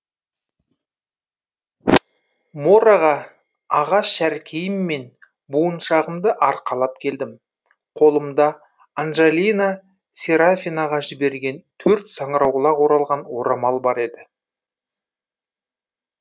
мораға ағаш шәркейім мен буыншағымды арқалап келдім қолымда анжолина серафинаға жіберген төрт саңырауқұлақ оралған орамал бар еді